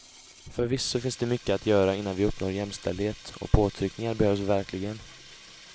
Förvisso finns det mycket att göra innan vi uppnår jämställdhet och påtryckningar behövs verkligen.